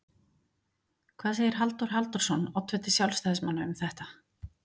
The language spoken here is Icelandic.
Hvað segir Halldór Halldórsson, oddviti sjálfstæðismanna, um þetta?